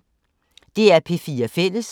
DR P4 Fælles